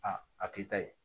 A a k'i ta ye